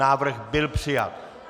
Návrh byl přijat.